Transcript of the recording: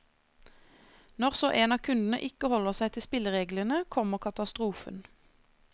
Når så en av kundene ikke holder seg til spillereglene, kommer katastrofen.